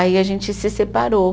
Aí a gente se separou.